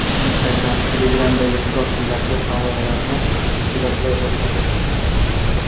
Instagram Telegram’dagi profillarga havolalarni bloklay boshladi.